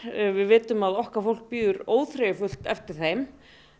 við vitum að okkar fólk bíður óþreyjufullt eftir þeim